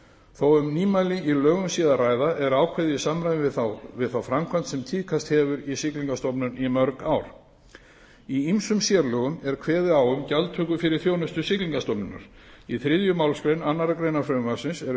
þó um nýmæli í lögum sé að ræða er ákvæðið í samræmi við þá framkvæmd sem tíðkast hefur í siglingastofnun í mörg ár í ýmsum sérlögum er kveðið á um gjaldtöku fyrir þjónustu siglingastofnunar í þriðju málsgrein annarrar greinar frumvarpsins eru